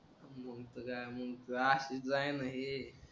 अशीच जाय ना ए